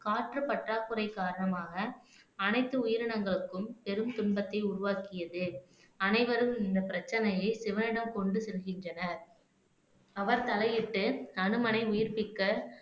காற்று பற்றாக்குறை காரணமாக அனைத்து உயிரினங்களுக்கும் பெரும் துன்பத்தை உருவாக்கியது அனைவரும் இந்த பிரச்சனையை சிவனிடம் கொண்டு செல்கின்றனர் அவர் தலையிட்டு அனுமனை உயிர்ப்பிக்க